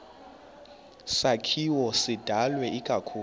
sakhiwo sidalwe ikakhulu